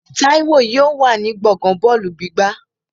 Táíwò yóò wà ní gbọ̀ngán bọ́ọ̀lù gbígbá